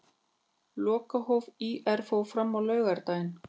Lokahóf ÍR fór fram á laugardaginn.